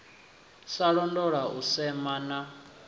sa londola u sema na